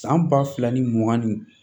San ba fila ni mugan ni